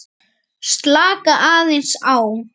Slaka aðeins á.